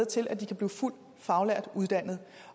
til at de kan blive fuldt faglært uddannet